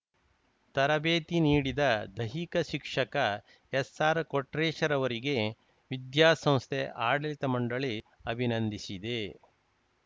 ತರಬೇತಿ ನೀಡಿದ ದೈಹಿಕ ಶಿಕ್ಷಕ ಎಸ್‌ಆರ್‌ಕೊಟ್ರೇಶ್ ರವರಿಗೆ ವಿದ್ಯಾಸಂಸ್ಥೆ ಆಡಳಿತ ಮಂಡಳಿ ಅಭಿನಂದಿಸಿದೆ